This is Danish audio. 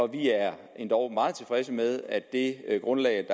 vi er endog meget tilfredse med at det grundlag